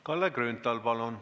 Kalle Grünthal, palun!